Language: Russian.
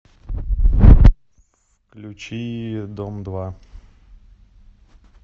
включи дом два